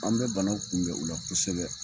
An bɛ banaw kunbɛn u la kosɛbɛ.